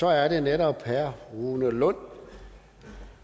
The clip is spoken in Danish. så er det netop herre rune lund